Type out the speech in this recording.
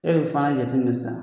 E de bi Fana jate min sisan